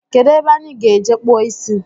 Kedụ ebe anyị ga-eje kpụọ isi